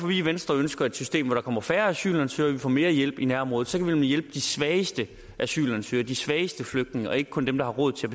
vi i venstre ønsker et system hvor der kommer færre asylansøgere og mere hjælp i nærområdet så kan vi nemlig hjælpe de svageste asylansøgere og de svageste flygtninge og ikke kun dem der har råd til